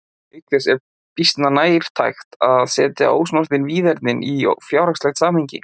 Auk þess er býsna nærtækt að setja ósnortin víðernin í fjárhagslegt samhengi.